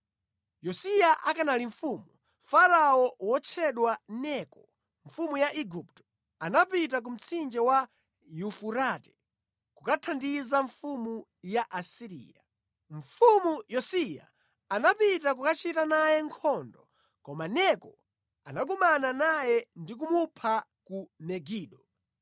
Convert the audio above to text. Yosiya akanali mfumu, Farao wotchedwa Neko, mfumu ya Igupto, anapita ku Mtsinje wa Yufurate kukathandiza mfumu ya ku Asiriya. Mfumu Yosiya anapita kukachita naye nkhondo, koma Neko anakumana naye ndi kumupha ku Megido.